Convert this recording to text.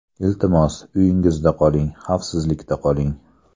Iltimos, uyingizda qoling, xavfsizlikda qoling.